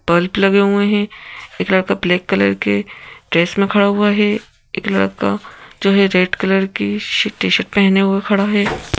Bulb लगे हुए हैं एक लड़का ब्लैक कलर के ड्रेस में खड़ा हुआ है एक लड़का जो है रेड कलर की टी-शर्ट पहने हुए खड़ा है।